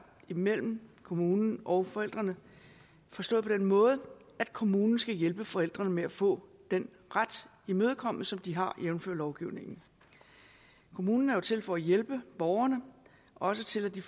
mellem kommunen og forældrene forstået på den måde at kommunen skal hjælpe forældrene med at få den ret imødekommet som de har jævnfør lovgivningen kommunen er jo til for at hjælpe borgeren også til at det